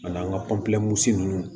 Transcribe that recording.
Ani an ka ninnu